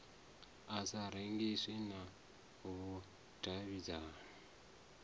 i sa rengiswi na vhudavhidzano